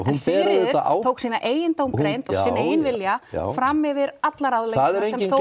en Sigríður tók sína eigin dómgreind og sinn eigin vilja fram yfir allar ráðleggingar